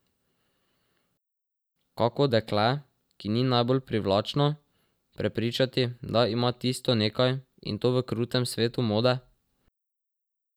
Kako dekle, ki ni najbolj privlačno, prepričati, da ima tisto nekaj, in to v krutem svetu mode?